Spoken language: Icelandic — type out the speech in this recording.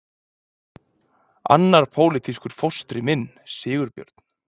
Annar pólitískur fóstri minn, Sigurbjörn